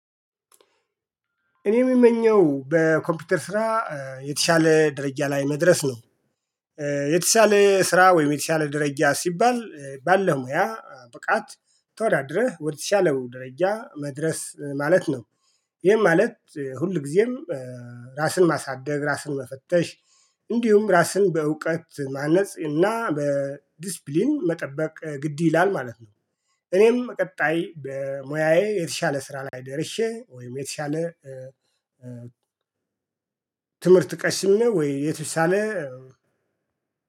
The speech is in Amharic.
እኔ የምመኘው በኮምፒውተር ስራ የተሻለ ደረጃ ላይ መድረስ ነው። የተሻለ ስራ ወይም የተሻለ ደረጃ ሲባል ባለው ሙያ ብቃት ተወዳድረህ ወይም ደረጃ መድረስ ማለት ነው። ይሄም ማለት ሁል ጊዜም። ራስን ማሳደግ ራስን መፈተሽ። እንዲሁም ራስን በእውቀት ማነጽ እና በዲስፕሊን መጠበቅ ግድ ይላል ማለት ነው። እኔም ቀጣይ በሙያዬ የተሻለ ስራ ላይ ደርሼ ወይም የተሻለ ትምህርት ቀስሜ ነው ወይ የተሻለ